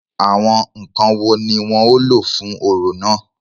Àwọn ǹkan wo ni wọ́n ó lò fún orò náà?